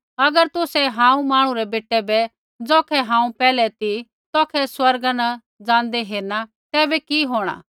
अगर तुसै हांऊँ मांहणु रै बेटै बै ज़ौखै हांऊँ पैहलै ती तौखै स्वर्ग ज़ाँदै हेरणा तैबै कि होंणा